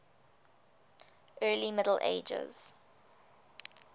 early middle ages